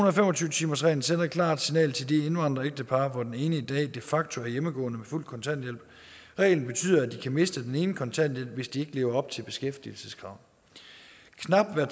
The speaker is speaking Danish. og fem og tyve timersreglen sender et klart signal til de indvandrerægtepar hvoraf den ene i dag de facto er hjemmegående på fuld kontanthjælp reglen betyder at de kan miste den enes kontanthjælp hvis de ikke lever op til beskæftigelseskravet knap hver